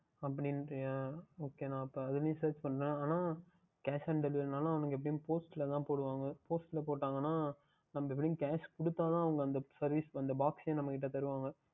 அப்படி என்று கூறுக்கின்றைய நான் சரி இதுலையே Search பண்ணுகிறேன் ஆனால் Cash on delivery என்றாலும் எப்படியும் Post ல தான் போடுவார்கள் Post ல போட்டார்கள் என்றால் நாம் வெறும் Casg கொடுத்தால் தான் அந்த Post யையே நாம் கையில் தருவார்கள்